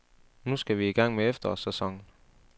Nu skal vi i gang med efterårssæsonen.